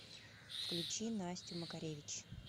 включи настю макаревич